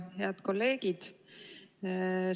Head kolleegid!